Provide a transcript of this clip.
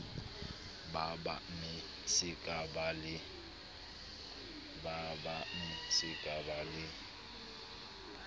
ba bangmme se kaba le